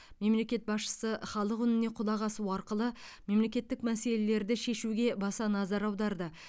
мемлекет басшысы халық үніне құлақ асу арқылы мемлекеттік мәселелерді шешуге баса назар аударды